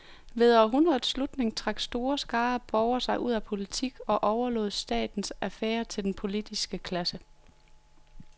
Ved århundredets slutning trak store skarer af borgere sig ud af politik og overlod statens affærer til den politiske klasse.